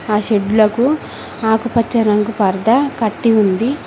ఆ షెడ్లకు ఆకుపచ్చ రంగు పర్థా కట్టి ఉంది.